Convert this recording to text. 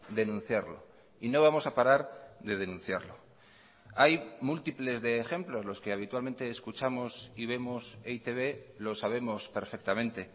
denunciarlo y no vamos a parar de denunciarlo hay múltiples de ejemplos los que habitualmente escuchamos y vemos e i te be lo sabemos perfectamente